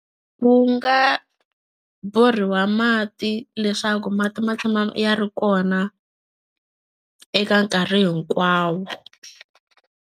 Wu nga borhiwa mati leswaku mati ma tshama ya ri kona eka nkarhi hinkwawo.